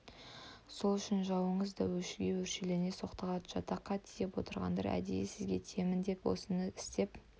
сол үшін жауыңыз да өшіге өршелене соқтығады жатаққа тиіп отырғандар әдейі сізге тиемін деп осыны істеп